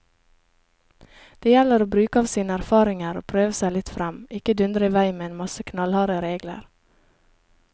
Det gjelder å bruke av sine erfaringer og prøve seg litt frem, ikke dundre i vei med en masse knallharde regler.